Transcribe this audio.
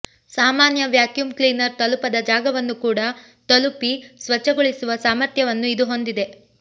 ಸಾಮಾನ್ಯ vacuum cleaner ತಲುಪದ ಜಾಗವನ್ನು ಕೂಡ ತಲುಪಿ ಸ್ವಚ್ಛಗೊಳಿಸುವ ಸಾಮರ್ಥ್ಯವನ್ನು ಇದು ಹೊಂದಿದೆ